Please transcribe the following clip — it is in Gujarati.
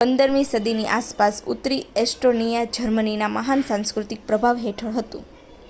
15 મી સદીની આસપાસ, ઉત્તરી એસ્ટોનીયા જર્મનીના મહાન સાંસ્કૃતિક પ્રભાવ હેઠળ હતું